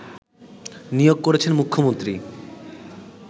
নিয়োগ করেছেন মুখ্যমন্ত্রী